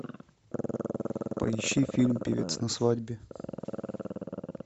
поищи фильм певец на свадьбе